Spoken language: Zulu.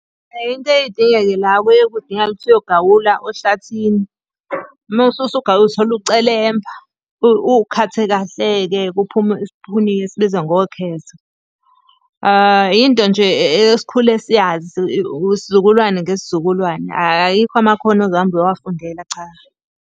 Into eyeke idingeke la, kuye kudingakale ukuthi uyogawula ohlathini. Uma usugawula uthola ucelemba, ukhathe kahle-ke kuphume isipuni esibizwa ngokhezo. Yinto nje esikhule siyazi, isizukulwane ngesizukulwane. Ayikho amakhono ozohamba uyowafundela, cha.